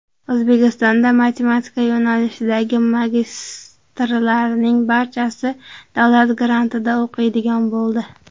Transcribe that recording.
O‘zbekistonda matematika yo‘nalishidagi magistrlarning barchasi davlat grantida o‘qiydigan bo‘ldi.